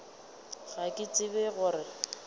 ga ke tsebe go re